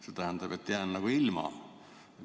See tähendab, et jään õigusest sõna võtta ilma.